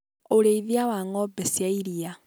ũrĩithia wa ng'ombe cia ĩrĩa.